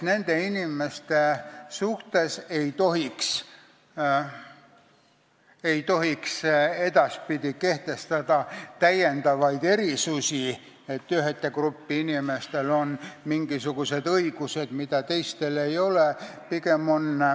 Nende inimeste suhtes ei tohiks edaspidi kehtestada täiendavaid erisusi, et ühe grupi inimestel on mingisugused õigused, mida teistel ei ole.